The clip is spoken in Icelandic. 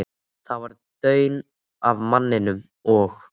Það var daunn af manninum, og